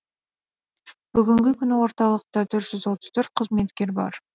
бүгінгі күні орталықта төрт жүз отыз төрт қызметкер бар